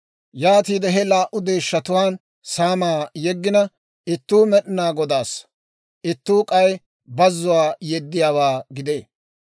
Yaatiide he laa"u deeshshatuwaan saamaa yeggina ittuu Med'inaa Godaassa; ittuu k'ay bazzuwaa yeddiyaawaa gidee.